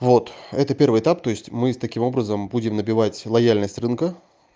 вот это первый этап то есть мы с таким образом будем набивать лояльность рынка